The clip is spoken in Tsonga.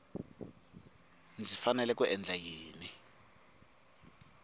ndzi fanele ku endla yini